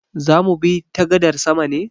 Zamu bi ta gadar sama ne?